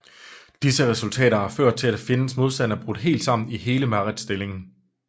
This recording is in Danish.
Disse resultater har ført til at fjendens modstand er brudt helt sammen i hele Mareth stillingen